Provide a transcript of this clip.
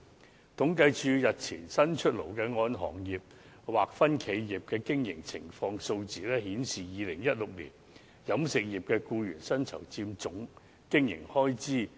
政府統計處日前剛公布"按行業劃分的企業經營情況"的數字顯示 ，2016 年飲食業僱員薪酬佔總經營開支